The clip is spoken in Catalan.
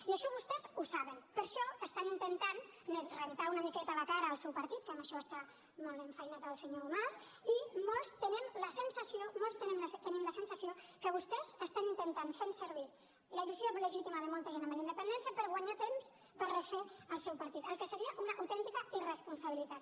i això vostès ho saben per això estan intentant rentar una miqueta la cara al seu partit que en això està molt enfeinat el senyor mas i molts tenim la sensació que vostès estan intentant fer servir la il·lusió legítima de molta gent amb la independència per guanyar temps per refer el seu partit cosa que seria una autèntica irresponsabilitat